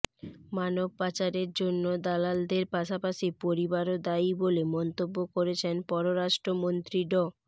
মানবপাচারের জন্য দালালদের পাশাপাশি পরিবারও দায়ী বলে মন্তব্য করেছেন পররাষ্ট্রমন্ত্রী ড